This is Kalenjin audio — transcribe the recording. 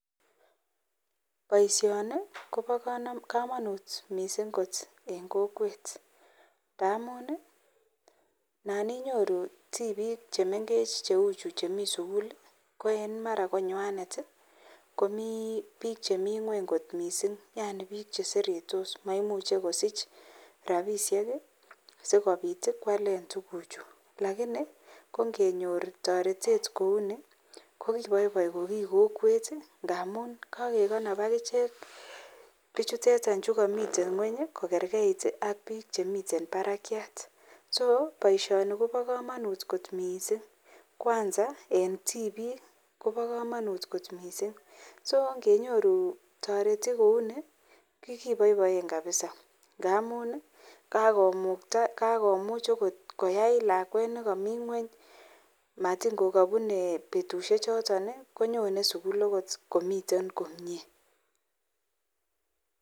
Baishoni Koba kamanut mising kot en kokwet ngamunanan inyoru tibik chemengechen cheuchu Chemiten sukul Koen mara konywanet ko bik Chemiten ngweny kot mising Yani bik cheseretos ak mamuche kosich rabishek sikobit kwalen tuguk Chu lakini kongenyor tarete kouni kokibaibai ko ki kokwet mising ngamun kagekonob akichek bichutetan kamiten ngweny kogergeit ak bik Chemiten Barakiat so baishoni Koba kamanut kot mising kwanza en tibik Koba kamanut kot mising agenyoru taretet kouni kibaibai kabisa ngamun akomuch okot koyai lakwet nekamii ngweny matingokabune betushek choton konyonen sukul komiten komie